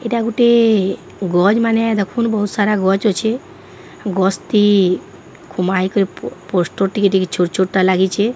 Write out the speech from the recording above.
ଏଇଟା ଗୋଟିଏ ଗଛ ମାନେ ଦେଖୁନ ବହୁତ ସାରା ଗଛ ଅଛେ। ଗଛ ଟି କୁମାଇ କରି ପୋ ପୋଷ୍ଟର ଟିକେ ଛୋଟ ଛୋଟ ଟା ଲାଗିଚେ।